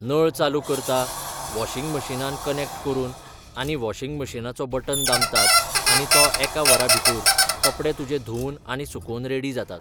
नळ चालू करता वॉशींग मशीनान कनॅक्ट करून आनी वॉशींग मशीनाचो बटन दामतात आनी तो एका वरा भितूर कपडे तुजे धुंवून आनी सुकोन रेडी जातात